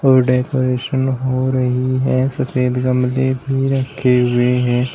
Decoration हो रही है सफेद गमले भी रखे हुए हैं।